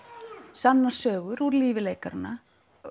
sannar sögur úr lífi leikaranna